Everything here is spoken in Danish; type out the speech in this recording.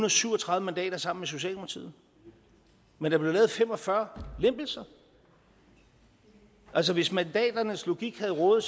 og syv og tredive mandater sammen med socialdemokratiet men der blev lavet fem og fyrre lempelser altså hvis mandaternes logik havde rådet